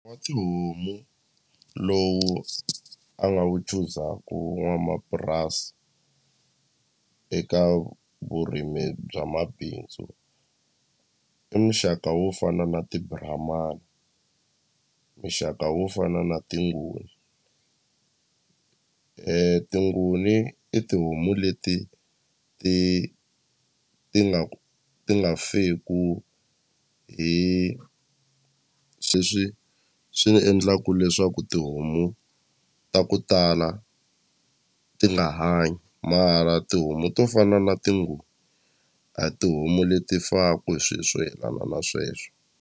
Wa tihomu lowu a nga wu chuzaku n'wamapurasi eka vurimi bya mabindzu i muxaka wo fana na ti-brahman muxaka wo fana na ti-nguni ti-nguni i tihomu leti ti ti nga ti nga feku hi sweswi swi endlaku leswaku tihomu ta ku tala ti nga hanyi mara tihomu to fana na ti-nguni a tihomu leti faku hi swi swo yelana na sweswo.